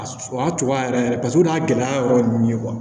A o y'a cogoya yɛrɛ yɛrɛ paseke o y'a gɛlɛya yɔrɔ ye